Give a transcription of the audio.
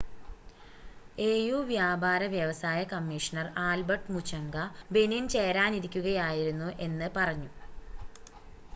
AU വ്യാപാര വ്യവസായ commissioner Albert Muchanga Benin ചേരാനിരിക്കുകയായിരുന്നു എന്ന് പറഞ്ഞു